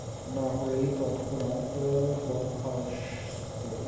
না হলেই তৎক্ষণাৎ, আআ বরখাস্ত